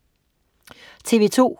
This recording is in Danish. TV2: